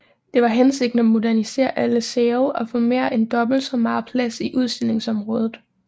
Det var hensigten at modernisere alle sale og få mere end dobbelt så meget plads i udstillingsområdet